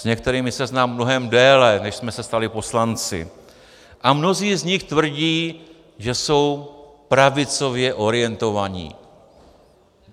S některými se znám mnohem déle, než jsme se stali poslanci, a mnozí z nich tvrdí, že jsou pravicově orientovaní.